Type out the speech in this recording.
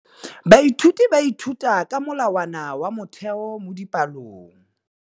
Baithuti ba ithuta ka molawana wa motheo mo dipalong.